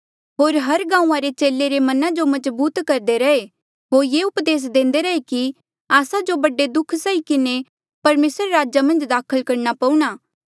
होर हर गांऊँआं रे चेले रे मना जो मजबूत करदे रैहे होर ये उपदेस देंदे रैहे कि आस्सा जो बडे दुःख सही किन्हें परमेसरा रे राजा मन्झ दाखल करणा पऊणा